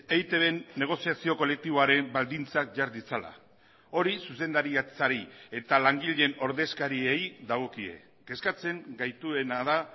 eitbn negoziazio kolektiboaren baldintzak jar ditzala hori zuzendaritzari eta langileen ordezkariei dagokie kezkatzen gaituena da